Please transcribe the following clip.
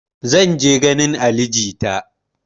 Zan je ganin ali jita